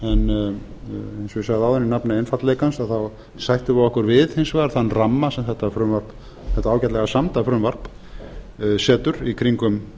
og ég sagði áðan í nafni einfaldleikans þá sættum við okkur við hins vegar þann ramma sem þetta ágætlega samda frumvarp setur í kringum